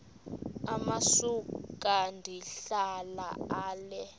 amasuka ndihlala ale